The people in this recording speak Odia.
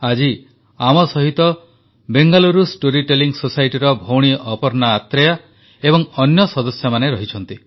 ଆଜି ଆମ ସହିତ ବେଙ୍ଗାଲୁରୁ ଷ୍ଟୋରୀ ଟେଲିଂ societyର ଭଉଣୀ ଅପର୍ଣ୍ଣା ଆତ୍ରେୟା ଏବଂ ଅନ୍ୟ ସଦସ୍ୟମାନେ ରହିଛନ୍ତି